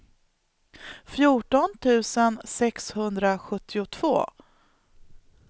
fjorton tusen sexhundrasjuttiotvå